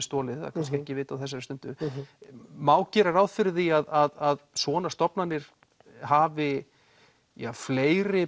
stolið það er kannski ekki vitað á þessari stundu má gera ráð fyrir því að svona stofnanir hafi fleiri